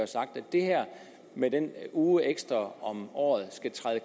sagt at det her med den uge ekstra om året skal træde